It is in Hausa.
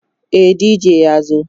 e DJ ya zo